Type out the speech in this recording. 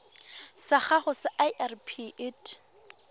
sa gago sa irp it